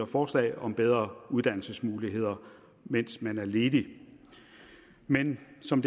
forslag om bedre uddannelsesmuligheder mens man er ledig men som